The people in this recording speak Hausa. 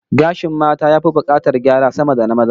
Gashin mata ya fi bukatar gyara sama da na maza